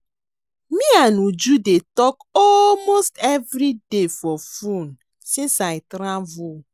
Me and Uju dey talk almost everyday for phone since I travel